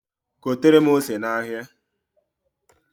Gotere m ose n'ahịa.